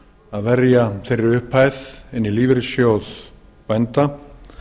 að verja þeirri upphæð í lífeyrissjóð bænda